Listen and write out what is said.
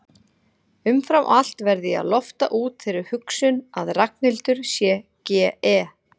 Umfram allt verð ég að lofta út þeirri hugsun að Ragnhildur sé GE